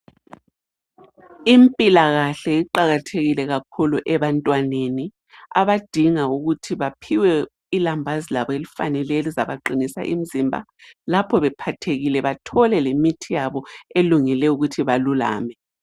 Impilakahle iqakathekile kakhulu ebantwaneni abadinga ukuthi baphiwe ilambazi labo elifaneleyo elizabaqinisa imzimba lapho bephathekile bathole lemithi yabo elungele ukuthi belulame.